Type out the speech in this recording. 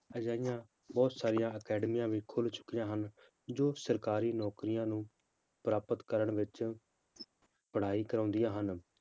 ਅਜਿਹੀਆਂ ਬਹੁਤ ਸਾਰੀਆਂ ਅਕੈਡਮੀਆਂ ਵੀ ਖੁੱਲ ਚੁੱਕੀਆਂ ਹਨ, ਜੋ ਸਰਕਾਰੀ ਨੌਕਰੀਆਂ ਨੂੰ ਪ੍ਰਾਪਤ ਕਰਨ ਵਿੱਚ ਪੜ੍ਹਾਈ ਕਰਵਾਉਂਦੀਆਂ ਹਨ,